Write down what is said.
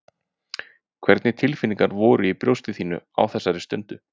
Hvernig tilfinningar voru í brjósti þínu á þessari stundu?